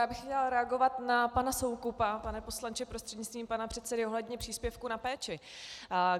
Já bych chtěla reagovat na pana Soukupa, pane poslanče prostřednictvím pana předsedy, ohledně příspěvku na péči.